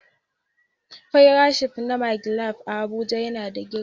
fairat shif na " magic land " Abuja yana da girma sosai.